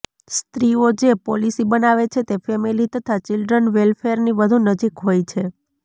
સ્ત્રીઓ જે પોલીસી બનાવે છે તે ફેમિલી તથા ચિલ્ડ્રન વેલફેરની વધુ નજીક હોય છે